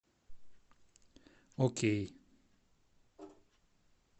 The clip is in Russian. окей